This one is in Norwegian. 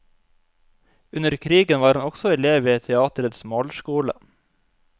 Under krigen var han også elev ved teatrets malerskole.